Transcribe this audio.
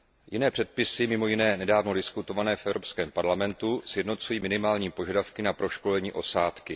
Jiné předpisy mimo jiné nedávno diskutované v Evropském parlamentu sjednocují minimální požadavky na proškolení osádky.